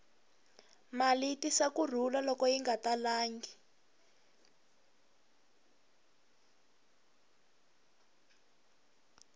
mali yi tisa ku rhula loko yi nga talangi